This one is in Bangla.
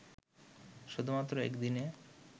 শুধুমাত্র একদিনে